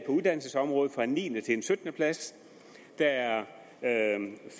uddannelsesområdet fra en niende plads til en syttende plads der er